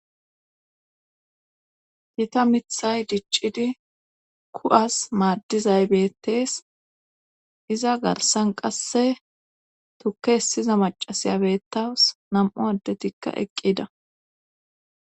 Gita mithay diccidi ku7as maaddizay bettees iza garsan qasse tukke hessiza macasiyabettaws nam7u addetikka eqqida.